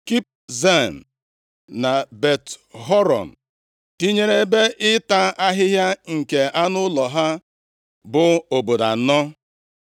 Kibzaim na Bet-Horon, tinyere ebe ịta ahịhịa nke anụ ụlọ ha, bụ obodo anọ.